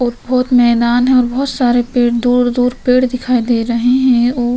ऊपर मैदान है और बहोत सारे पेड़ दूर-दूर पेड़ दिखाई दे रहे हैं और --